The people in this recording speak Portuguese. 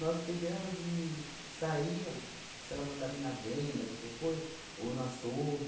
Nós pegamos e saía, se ela mandava ir na venda, qualquer coisa, ou no açougue.